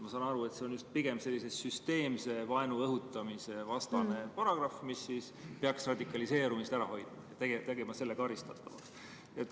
Mina saan aru nii, et see on pigem sellise süsteemse vaenu õhutamise vastane paragrahv, mis peaks radikaliseerumist ära hoidma, tegema selle karistatavaks.